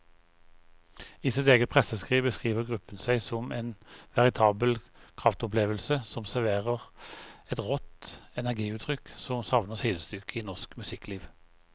I sitt eget presseskriv beskriver gruppen seg som en veritabel kraftopplevelse som serverer et rått energiutrykk som savner sidestykke i norsk musikkliv.